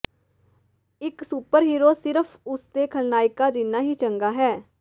ਇਕ ਸੁਪਰਹੀਰੋ ਸਿਰਫ ਉਸ ਦੇ ਖਲਨਾਇਕਾਂ ਜਿੰਨਾ ਹੀ ਚੰਗਾ ਹੈ